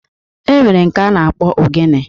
E nwere nke a na-akpọ Ogene